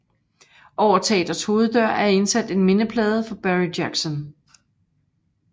Over teatrets hoveddør er indsat en mindeplade for Barry Jackson